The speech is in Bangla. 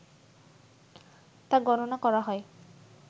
তা গণনা করা হয়